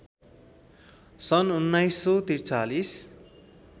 सन् १९४३